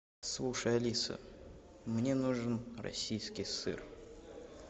слушай алиса мне нужен российский сыр